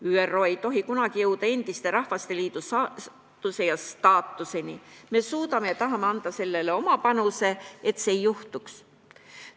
ÜRO ei tohi kunagi jõuda endise Rahvasteliidu saatuse ja staatuseni, me suudame ja tahame anda oma panuse, et seda ei juhtuks.